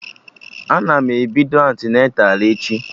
Ana m ebido antịneta echi